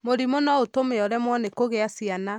Mũrimũ no ũtũme ũremwo nĩ kũgĩa ciana.